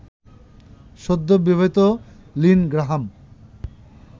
সদ্যবিবাহিত Lynn Graham